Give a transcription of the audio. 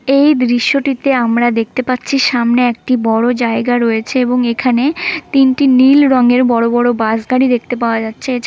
এই দৃশ্যটিতে আমরা দেখতে পাচ্ছি সামনে একটি বড়ো জায়গা রয়েছে এবং এখানে তিনটি নীল রঙের বড়ো বড়ো বাস গাড়ি দেখতে পাওয়া যাচ্ছে এছা--